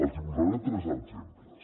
els hi posaré tres exemples